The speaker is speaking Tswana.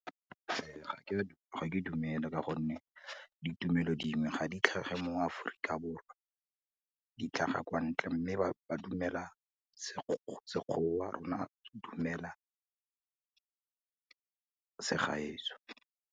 ga ke dumele ka gonne, ditumelo dingwe ga di tlhage mo Aforika Borwa di tlhaga kwa ntle, mme ba dumela Sekgowa, rona dumela segaetsho.